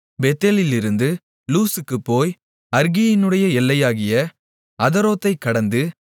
பெத்தேலிலிருந்து லூஸுக்குப் போய் அற்கியினுடைய எல்லையாகிய அதரோத்தைக் கடந்து